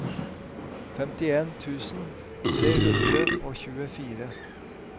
femtien tusen tre hundre og tjuefire